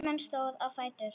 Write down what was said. Hermann stóð á fætur.